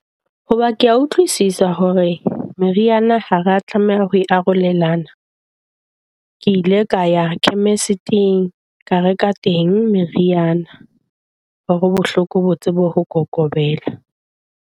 Hoba ke a utlwisisa hore meriana ha re tlameha ho arolelana. Ke ile ka ya chemist-ing ka reka teng meriana hore bo bohloko bo tsebe ho kokobetsa.